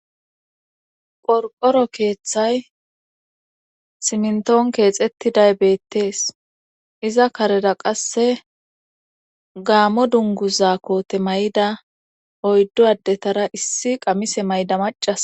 qorqoro keeththay simntoon keexettiday beettees iza kareda qasse gaammo dunguza koote may7ida oyddu addetara issi qamise mayda macas